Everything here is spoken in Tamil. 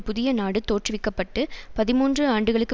புதிய நாடு தோற்றுவிக்க பட்டு பதிமூன்று ஆண்டுகளுக்கு